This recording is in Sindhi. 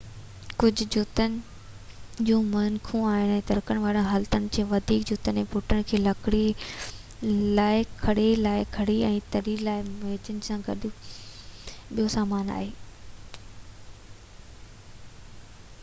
ڪجهه جوتن کي ميخون آهن ۽ ترڪڻ واري حالتن جي لاءِ وڌيڪ جوتن ۽ بوٽن جي لاءِ کڙي لاءِ کڙي ۽ تري لاءِ ميخن سان گڏ ٻيو سامان آهي